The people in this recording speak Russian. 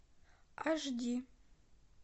аш ди